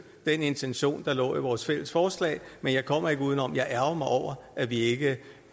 den intention der lå i vores fælles forslag men jeg kommer ikke uden om at jeg ærgrer mig over at vi ikke